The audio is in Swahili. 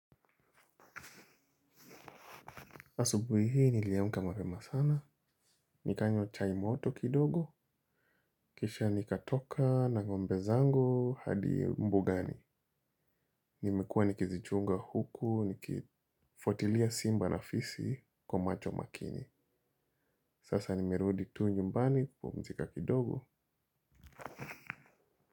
Asubuhi hii niliamka mapema sana. Nikanywa chai moto kidogo. Kisha nikatoka na ngombe zangu hadi mbugani. Nimekuwa nikizichunga huku nikifuatilia simba na fisi kwa macho makini. Sasa nimerudi tu nyumbani kupumzika kidogo.